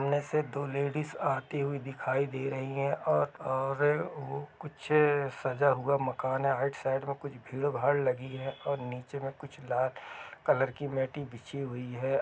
समाने से तो लेडिस आती हुई दिखाई दे रही है और हो कुछ सजा हुआ मकान है आईट-साइट में कुछ भीड़ भाड़ लगी है और नीचे में कुछ लाल कलर की मेटी बिछी हुई है।